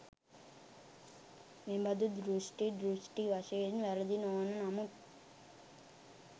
මෙබඳු දෘෂ්ටි, දෘෂ්ටි වශයෙන් වැරදි නොවන නමුත්